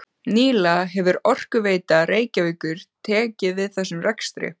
Nýlega hefur Orkuveita Reykjavíkur tekið við þessum rekstri.